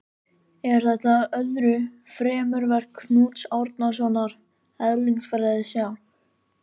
Er þetta öðru fremur verk Knúts Árnasonar eðlisfræðings hjá